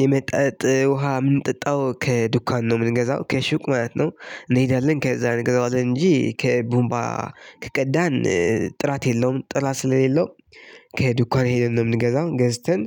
የመጣጥ ውሃ ምንጥጣው ከዱካን ነው የምንገዛው ከሹቅ ማየት ነው። እንሄዳለን ከዛ እንገዛዋለን እንጂ ከቡንባ ከቀዳን ጥራት የለውም ጥራት ስለሌለው። ከዱካን ሄደን ነው የምንገዛው ገዝተን